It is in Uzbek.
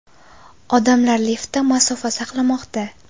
Odamlar liftda masofa saqlamoqda.